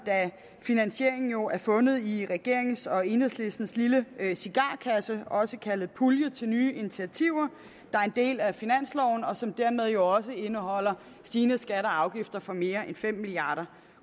da finansieringen jo er fundet i regeringens og enhedslistens lille cigarkasse også kaldet pulje til nye initiativer der er en del af finansloven og som dermed også indeholder stigende skatter og afgifter for mere end fem milliard